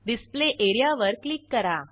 display एरियावर click करा